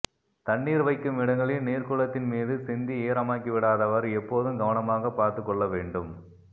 தண்ணீர் வைக்கும் இடங்களில் நீர்க்கூளத்தின் மீது சிந்தி ஈரமாக்கிவிடாதவாறு எப்போதும் கவனமாகப் பார்த்துக் கொள்ளவேண்டும்